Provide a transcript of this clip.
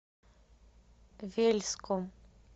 вельском